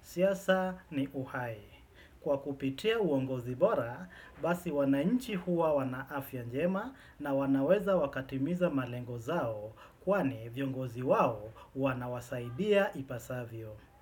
Siasa ni uhai. Kwa kupitia uongozi bora, basi wananchi huwa wanaafya njema na wanaweza wakatimiza malengo zao kwani viongozi wao wanawasaidia ipasavyo.